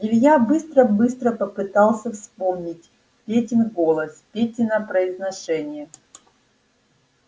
илья быстро-быстро попытался вспомнить петин голос петино произношение